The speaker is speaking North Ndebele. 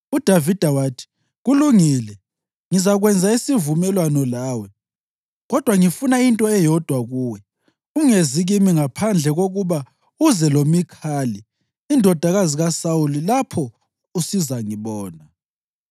UDavida wathi, “Kulungile, ngizakwenza isivumelwano lawe. Kodwa ngifuna into eyodwa kuwe: Ungezi kimi ngaphandle kokuba uze loMikhali indodakazi kaSawuli lapho usizangibona.”